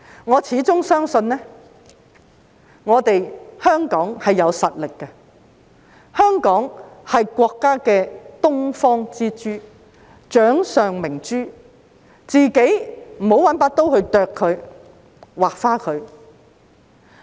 我始終相信香港有實力，香港是國家的東方之珠、掌上明珠，我們不要用刀損害它。